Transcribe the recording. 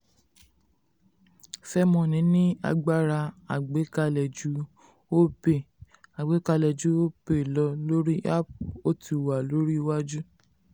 fairmoney ní agbára àgbàkalẹ̀ ju opay àgbàkalẹ̀ ju opay lọ lórí app ó ti wà lórí iwájú.